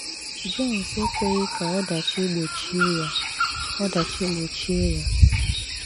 Jones ekwèghị́ ka ọdàchì gbòchìè ya. ọdàchì gbòchìè ya.